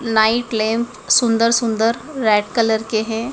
Night lamp सुंदर सुंदर red colour के हैं।